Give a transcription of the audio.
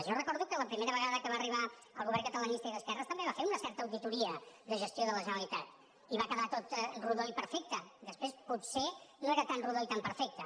jo recordo que la primera vegada que va arribar el govern catalanista i d’esquerres també va fer una certa auditoria de gestió de la generalitat i va quedar tot rodó i perfecte després potser no era tan rodó ni tan perfecte